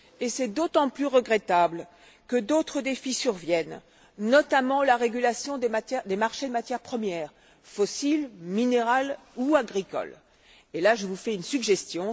C'est d'autant plus regrettable que d'autres défis surviennent, notamment la régulation des marchés des matières premières fossiles, minérales ou agricoles. Et là, je vous fais une suggestion.